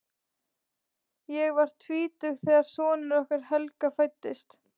Ég var tvítug þegar sonur okkar Helga fæddist.